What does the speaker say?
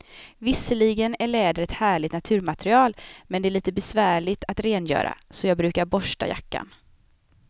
Visserligen är läder ett härligt naturmaterial, men det är lite besvärligt att rengöra, så jag brukar borsta jackan.